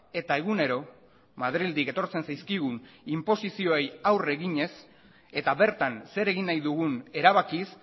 eta egunero madrildik etortzen zaizkigun inposizioei aurre eginez eta bertan zer egin nahi dugun erabakiz